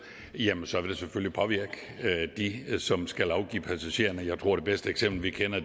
jamen så vil det selvfølgelig påvirke dem som skal afgive passagererne jeg tror at det bedste eksempel vi kender